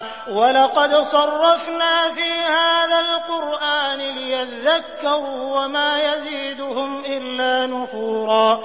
وَلَقَدْ صَرَّفْنَا فِي هَٰذَا الْقُرْآنِ لِيَذَّكَّرُوا وَمَا يَزِيدُهُمْ إِلَّا نُفُورًا